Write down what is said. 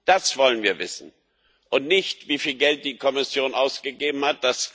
Das wollen wir wissen nicht, wieviel Geld die Kommission ausgegeben hat.